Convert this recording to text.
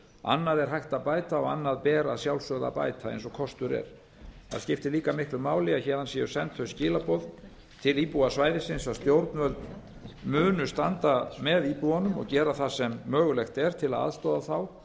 annað er hægt að bæta og annað ber að sjálfsögðu að bæta eins og kostur er það skiptir líka miklu máli að héðan séu send þau skilaboð til íbúa svæðisins að stjórnvöld munu standa með íbúunum og gera það sem mögulegt er til að aðstoða þá